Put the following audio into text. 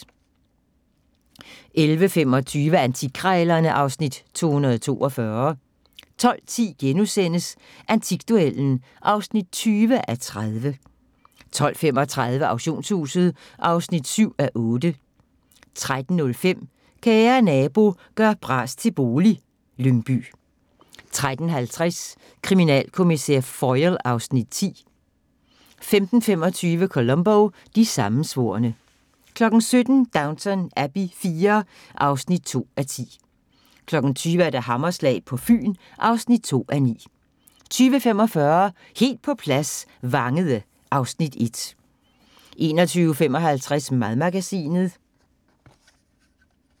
11:25: Antikkrejlerne (Afs. 242) 12:10: Antikduellen (20:30)* 12:35: Auktionshuset (7:8) 13:05: Kære nabo – gør bras til bolig - Lyngby 13:50: Kriminalkommissær Foyle (Afs. 10) 15:25: Columbo: De sammensvorne 17:00: Downton Abbey IV (2:10) 20:00: Hammerslag på Fyn (2:9) 20:45: Helt på plads - Vangede (Afs. 1) 21:55: Madmagasinet